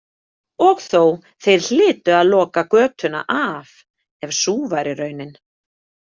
Og þó, þeir hlytu að loka götuna af ef sú væri raunin.